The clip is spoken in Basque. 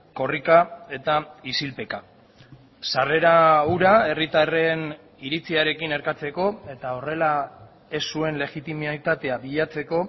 korrika eta isilpeka sarrera hura herritarren iritziarekin erkatzeko eta horrela ez zuen legitimitatea bilatzeko